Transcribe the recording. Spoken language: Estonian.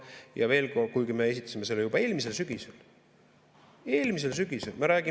Ja veel kord, kuigi me esitasime selle juba eelmisel sügisel – eelmisel sügisel!